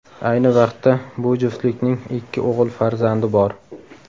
Ayni vaqtda bu juftlikning ikki o‘g‘il farzandi bor.